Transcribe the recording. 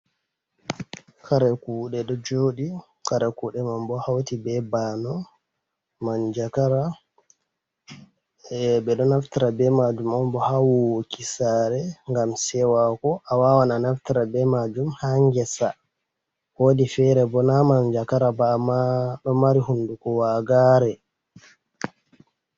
Kare kuɗe ɗo joɗi. Kare kuɗeman bo hauti be ba'ano, manja gara. Eh beɗo naftira be majum onbo ha wuwoki sare ngam sewaku. a wawan a naftaira be majum ha ngesa. Woɗi fere bo na manjagara ba amma ɗo mari hunɗuku waagare.